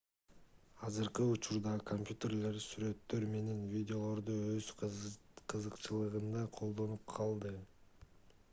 азыркы учурда компьютерлер сүрөттөр менен видеолорду өз кызыкчылыгында колдонуп калды